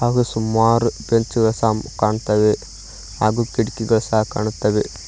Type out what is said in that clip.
ಹಾಗೂ ಸುಮಾರು ಪೆಂಚದ ಸಾಂ ಕಾಣ್ತಾವೆ ಹಾಗೂ ಕಿಟಕಿಗಳ್ ಸಹ ಕಾಣ್ತಾವೆ.